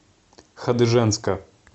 хадыженска